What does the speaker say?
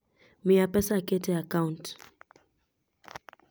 miya pesa aket e account